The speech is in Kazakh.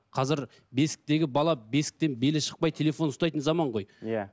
қазір бесіктегі бала бесіктен белі шықпай телефон ұстайтын заман ғой иә